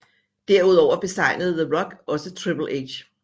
Derudover besejrede The Rock også Triple H